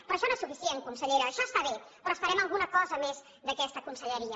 però això no és suficient consellera això està bé però esperem alguna cosa més d’aquesta conselleria